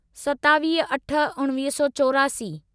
सतावीह अठ उणिवीह सौ चोरासी